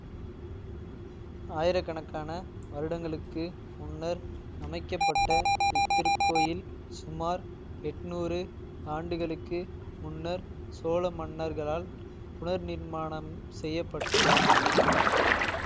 ஆயிரக்கணக்கான வருடங்களுக்கு முன்னர் அமைக்க பட்ட இத்திருக்கோயில் சுமார் எட்டுநூறு ஆண்டுகளுக்கு முன்னர் சோழ மன்னர்களால் புனர்நிர்மாணம் செய்ய பட்டது